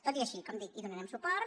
tot i així com dic hi donarem suport